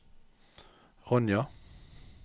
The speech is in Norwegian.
Ronja